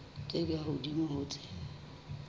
tse ka hodimo ho tse